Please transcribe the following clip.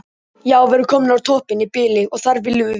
Já við erum komnir á toppinn í bili og þar viljum við vera.